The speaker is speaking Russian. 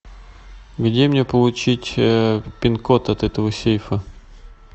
где мне получить пин код от этого сейфа